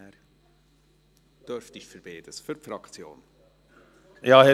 Sie dürften zu beidem sprechen.